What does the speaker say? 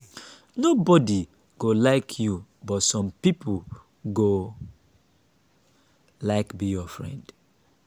no be everybodi go like you but some pipo go like be your friend.